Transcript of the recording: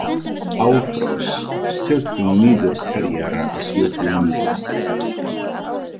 Álfrós, stilltu niðurteljara á sjötíu mínútur.